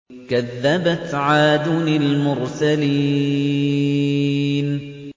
كَذَّبَتْ عَادٌ الْمُرْسَلِينَ